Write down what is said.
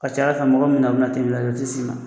Ka ca Ala fɛ mɔgɔ min bɛ na u bɛna lajɛ u te s'i ma.